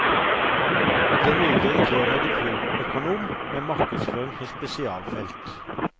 Den nye direktøren er diplomøkonom med markedsføring som spesialfelt.